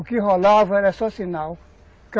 O que rolava era só sinal.